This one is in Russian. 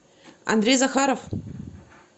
андрей захаров